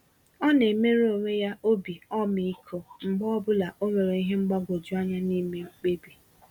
Ọna emere onwe ya obi ọmịiko mgbe ọbụla onwere ìhè mgbagwoju anya n'ime mkpebi.